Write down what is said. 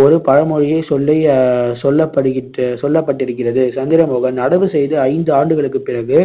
ஒரு பழமொழியே சொல்லி சொல்லப்படு~ சொல்லப்பட்டிருக்கிறது சந்திரமோகன் நடவு செய்து ஐந்து ஆண்டுகளுக்குப் பிறகு